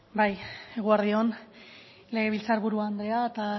bai eguerdi on legebiltzar buru andrea eta